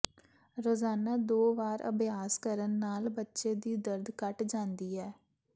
ਰੋਜ਼ਾਨਾ ਦੋ ਵਾਰ ਅਭਿਆਸ ਕਰਨ ਨਾਲ ਬੱਚੇ ਦੀ ਦਰਦ ਘਟ ਜਾਂਦੀ ਹੈ